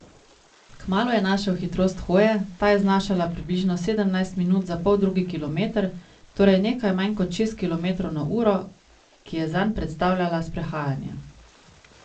Kmalu je našel hitrost hoje, ta je znašala približno sedemnajst minut za poldrugi kilometer, torej nekaj manj kot šest kilometrov na uro, ki je zanj predstavljala sprehajanje.